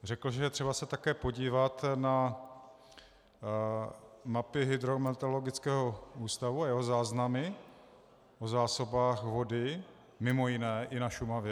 Řekl, že je třeba se také podívat na mapy Hydrometeorologického ústavu a jeho záznamy o zásobách vody, mimo jiné i na Šumavě.